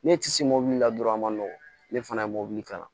Ne ti se mɔbili la dɔrɔn a ma nɔgɔn ne fana ye mobili kalan